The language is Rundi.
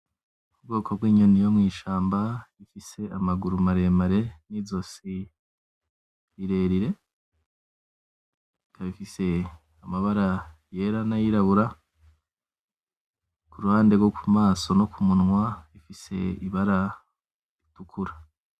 Ubwoko bw'inyoni yo mw'ishamba, ifise amaguru maremare n'izosi rirerire, ikaba ifise amabara yera n'ayirabura, kuruhande rwo ku maso no ku munwa ifise ibara ritukura.